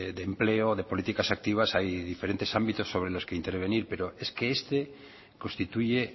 de empleo de políticas activas hay diferentes ámbitos sobre los que intervenir pero es que este constituye